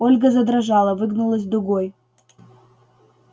ольга задрожала выгнулась дугой